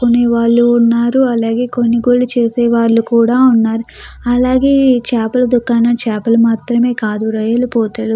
కొనేవాళ్ళు ఉన్నారు. అలాగే కొనుగోలు చేసే వాళ్ళు కూడ ఉన్నారు. అలాగే ఈ చేపల దుకాణం చాపలు మాత్రమే కాదు రైలుపుతలు --